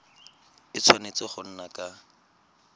a tshwanetse go nna ka